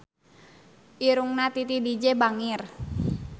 Irungna Titi DJ bangir